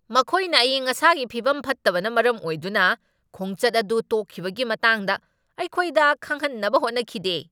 ꯃꯈꯣꯏꯅ ꯑꯏꯪ ꯑꯁꯥꯒꯤ ꯐꯤꯕꯝ ꯐꯠꯇꯕꯅ ꯃꯔꯝ ꯑꯣꯏꯗꯨꯅ ꯈꯣꯡꯆꯠ ꯑꯗꯨ ꯇꯣꯛꯈꯤꯕꯒꯤ ꯃꯇꯥꯡꯗ ꯑꯩꯈꯣꯏꯗ ꯈꯪꯍꯟꯅꯕ ꯍꯣꯠꯅꯈꯤꯗꯦ꯫